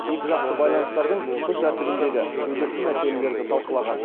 екіжақты байланыстардың күн тәртібіндегі өзекті мәселелерді талқылаған